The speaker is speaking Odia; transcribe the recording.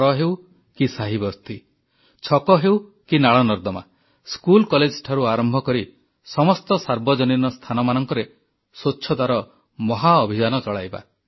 ଘର ହେଉ କି ସାହିବସ୍ତି ଛକ ହେଉ କି ନାଳନର୍ଦ୍ଦମା ସ୍କୁଲ କଲେଜଠାରୁ ଆରମ୍ଭ କରି ସମସ୍ତ ସାର୍ବଜନୀନ ସ୍ଥାନମାନଙ୍କରେ ସ୍ୱଚ୍ଛତାର ମହାଅଭିଯାନ ଚଳାଇବା